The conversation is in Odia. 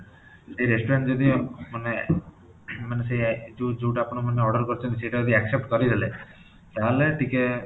ସେଇ restaurant ଯଦି ମାନେ ସେଇ ମାନେ ଯୋଉ ଯୋଉଟା ଆପଣମାନେ order କରିଛନ୍ତି ସେଇଟା ଯଦି accept କରିଦେଲେ ତା'ହେଲେ ଟିକେ